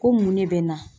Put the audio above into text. Ko mun ne bɛ n na